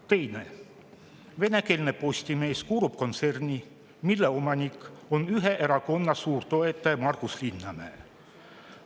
" Teine: "Venekeelne Postimees kuulub kontserni, mille omanik on ühe erakonna suurtoetaja Margus Linnamäe.